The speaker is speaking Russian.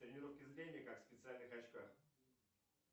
тренировки зрения как в специальных очках